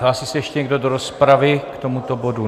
Hlásí se ještě někdo do rozpravy k tomuto bodu?